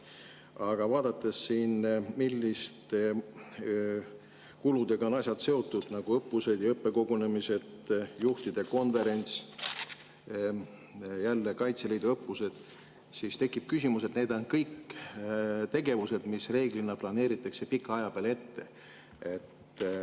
Aga vaadates siin, milliste kuludega on asjad seotud, näiteks õppused ja õppekogunemised, juhtide konverents, ka Kaitseliidu õppused, tekib küsimus, et need on kõik tegevused, mis reeglina planeeritakse pika aja peale ette.